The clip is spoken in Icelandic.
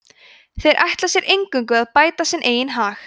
þeir ætli sér eingöngu að bæta sinn eigin hag